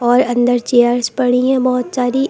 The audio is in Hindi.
और अंदर चेयर्स पड़ी हैं बहोत सारी।